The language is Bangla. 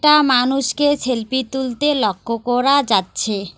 মানুষকে সেলফি তুলতে লক্ষ্য করা যাচ্ছে।